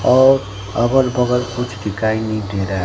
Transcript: और अगर बगल कुछ दिखाई नही दे रहा--